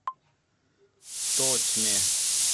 тотьме